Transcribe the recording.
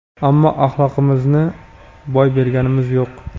ammo axloqimizni boy berganimiz yo‘q!.